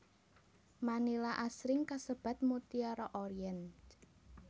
Manila asring kasebat Mutiara Orient